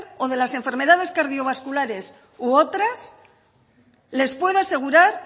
o de las enfermedades cardiovasculares u otras les puedo asegurar